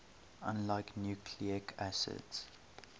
unlike nucleic acids